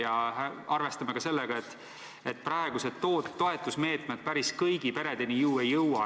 Ja arvestame ka sellega, et praegused toetusmeetmed päris kõigi peredeni ei jõua.